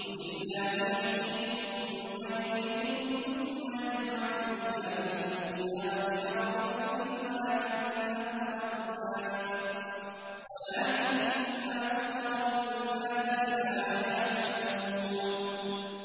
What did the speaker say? قُلِ اللَّهُ يُحْيِيكُمْ ثُمَّ يُمِيتُكُمْ ثُمَّ يَجْمَعُكُمْ إِلَىٰ يَوْمِ الْقِيَامَةِ لَا رَيْبَ فِيهِ وَلَٰكِنَّ أَكْثَرَ النَّاسِ لَا يَعْلَمُونَ